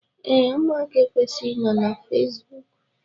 Ee, ụmụaka ekwesighi inọ na Fesbụụk.